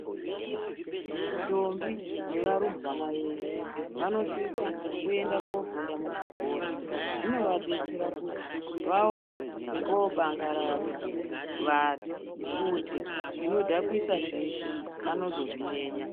Ndombi nevarumbwana veshe vanosisa kuenda kundofunda muzvikora zvinovadetsera kuti vaone kwekobandaradza vanhu kuti zvinodhakwisa zveshe vanozozviyeya.